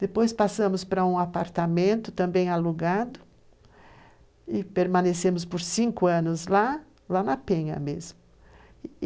Depois passamos para um apartamento, também alugado, e permanecemos por cinco anos lá, lá na Penha mesmo.